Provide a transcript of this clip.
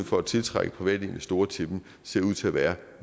for at tiltrække private investorer til dem ser ud til at være